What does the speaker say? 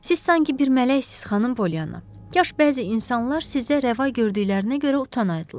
Siz sanki bir mələksiniz, xanım Polyanna, kaş bəzi insanlar sizə rəva gördüklərinə görə utanaydılar.